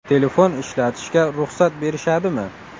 Telefon ishlatishga ruxsat berishadimi?